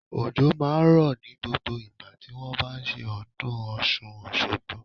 Òjò máa ń rọ̀ ní gbogbo ìgbà tí wón bá ṣe ọdún Ọ̀ṣun Òṣogbo.